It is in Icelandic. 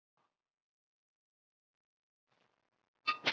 Svo hann hlýtur að vera sá eini sem gerir það?